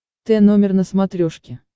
т номер на смотрешке